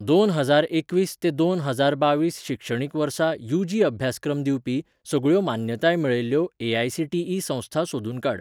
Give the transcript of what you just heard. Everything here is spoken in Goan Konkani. दोन हजार एकवीस ते दोन हजार बावीस शिक्षणीक वर्सा यूजी अभ्यासक्रम दिवपी सगळ्यो मान्यताय मेळयल्ल्यो ए.आय.सी.टी.ई संस्था सोदून काड.